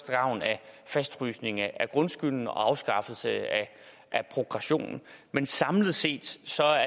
gavn af fastfrysning af grundskylden og afskaffelse af progressionen men samlet set